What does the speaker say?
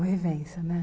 É uma vivência, né?